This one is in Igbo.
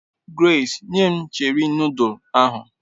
Grace, nye m Cheri nodul ahu